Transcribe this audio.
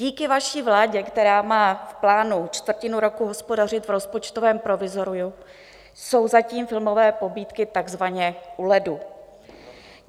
Díky vaší vládě, která má v plánu čtvrtinu roku hospodařit v rozpočtovém provizoriu, jsou zatím filmové pobídky takzvaně u ledu.